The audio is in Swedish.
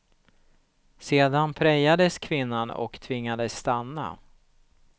Sedan prejades kvinnan och tvingades stanna.